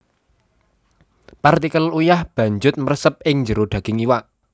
Partikel uyah banjut mresep ing jero daging iwak